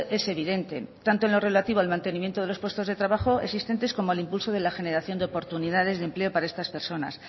es evidente tanto en lo relativo al mantenimiento de los puestos de trabajo existentes como el impulso de la generación de oportunidades de empleo para estas personas